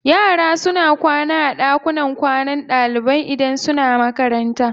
Yara suna kwana a ɗakunan kwanan ɗalibai idan suna makaranta.